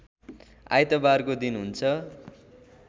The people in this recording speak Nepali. आइतबारको दिन हुन्छ